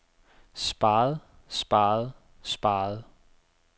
sparet sparet sparet